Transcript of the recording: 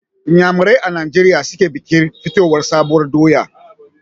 Inyanamerai a Nijeriya su ke bikin fitowar sabuwar doya.